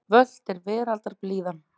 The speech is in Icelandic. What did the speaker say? Völt er veraldar blíðan.